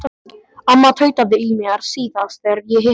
Amma tautaði í mér síðast þegar ég hitti hana.